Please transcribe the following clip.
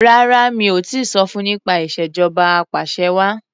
Rárá mi ò tíì sọ fun nípa ìṣèjọba apàṣẹwàá.